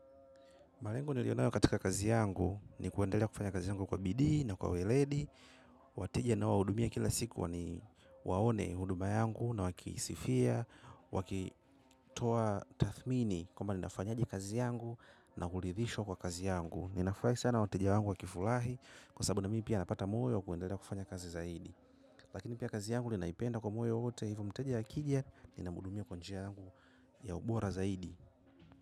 Malengo nilionayo katika kazi yangu ni kuendelea kufanya kazi yangu kwa bidio na kwa ueledi. Wateja ninawahudumia kila siku waone huduma yangu na wakisifia wakitoa tathmini kwamba ninafanyaje kazi yangu na kuridhishwa kwa kazi yangu. Ninafurahi sana wateja wangu wakifurahi kwa sababu na mimi pia napata moyo wa kuendelea kufanya kazi zaidi. Lakini pia kazi yangu ninaipenda kwa moyo wote hivo mteja akija nina muhudumia kwa njia yangu ya ubora zaidi.